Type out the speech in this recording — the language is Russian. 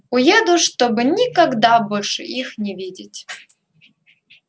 уеду чтобы никогда больше их не видеть